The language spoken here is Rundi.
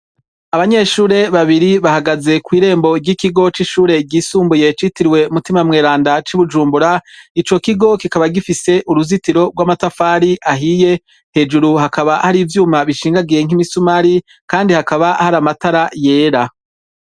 Abanyeshure babiri bahagaze kw’irembo ry’ikigo c’ishure ryisumbuye citiriwe mutima mweranda c’i bujumbura, ico kigo kikaba gifise uruzitiro rw’amatafari ahiye hejuru hakaba hari ivyuma bishingagiye nkimisumari kandi hakaba hari amatara yera.